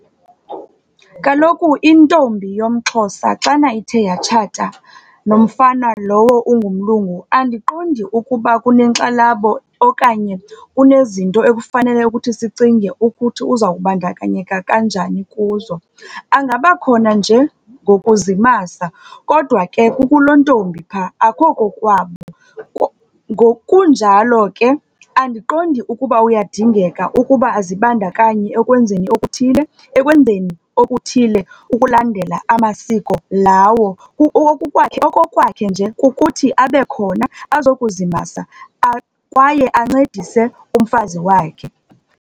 Kaloku intombi yomXhosa xana ithe yatshata nomfana lowo ungumlungu, andiqondi ukuba kunenxalabo okanye kunezinto ekufanele ukuthi sicinge ukuthi uzawubandakanyeka kanjani kuzo. Angabakhona nje ngokuzimasa kodwa ke kuku loo ntombi pha, akukho kokwabo. Ngokunjalo ke, andiqondi ukuba uyadingeka ukuba azibandakanye okwenzeni okuthile ekwenzeni okuthile ukulandela amasiko lawo. Okokwakhe nje kukuthi abe khona azokuzimasa kwaye ancedise umfazi wakhe.